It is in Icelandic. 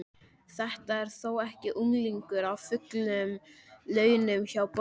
Þetta er þó ekki unglingur á fullum launum hjá borginni?